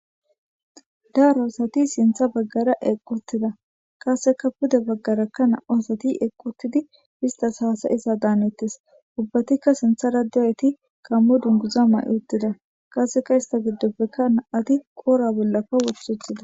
Daro asati sinta bagara eqi utida qaseka pude bagara namu'asati eqi utidi izas hasai'za danetes. Ubatika sinata bagara dizaysati gamo dunguza mayi utida ista gidoppeke nama'ti qore bollaka woti utida